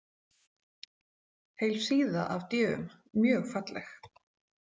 Heil síða af d- um, mjög falleg.